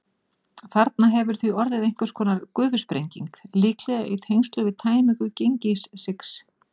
Þarna hefur því orðið einhvers konar gufusprenging, líklega í tengslum við tæmingu Gengissigs.